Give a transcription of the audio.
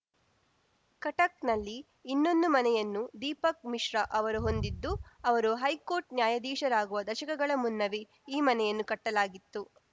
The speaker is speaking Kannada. ಕಟಕ್‌ನಲ್ಲಿ ಇನ್ನೊಂದು ಮನೆಯನ್ನು ದೀಪಕ್‌ ಮಿಶ್ರಾ ಅವರು ಹೊಂದಿದ್ದು ಅವರು ಹೈಕೋರ್ಟ್‌ ನ್ಯಾಯಾಧೀಶರಾಗುವ ದಶಕಗಳ ಮುನ್ನವೇ ಈ ಮನೆಯನ್ನು ಕಟ್ಟಲಾಗಿತ್ತು